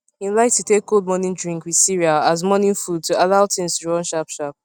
im like to take cold morning drink with cereal as morning food to allow things to run sharp sharp